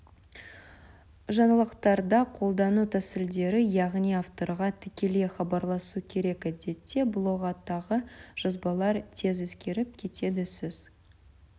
жаңалықтарда қолдану тәсілдері яғни авторға тікелей хабарласу керек әдетте блогтағы жазбалар тез ескіріп кетеді сіз